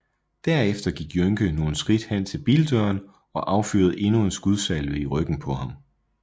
Derefter gik Jønke nogle skridt hen til bildøren og affyrede endnu en skudsalve i ryggen på ham